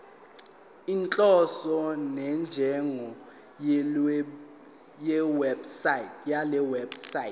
inhloso nenjongo yalewebsite